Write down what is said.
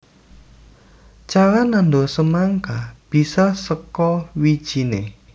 Cara nandur semangka bisa saka wijiné